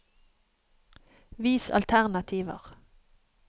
Vis alternativer